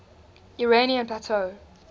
iranian plateau